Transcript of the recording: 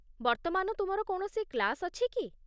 ବର୍ତ୍ତମାନ ତୁମର କୌଣସି କ୍ଳାସ ଅଛି କି?